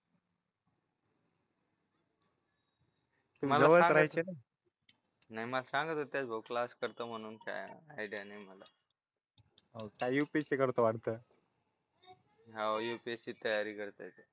नाही मला सांगत क्लास करते म्हणून काय आयडिया नाही मला हो का युपीएससी करतो वाटतं हाव यूपीएससीची तयारी करताय